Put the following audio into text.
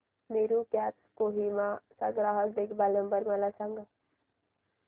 Meru cabs Kohima चा ग्राहक देखभाल नंबर मला सांगा